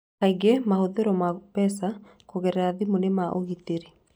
Kaingĩ mahũthĩro ma mbeca kũgerera thimũ nĩ ma ũgitĩri.